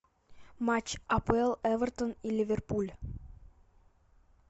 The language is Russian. матч апл эвертон и ливерпуль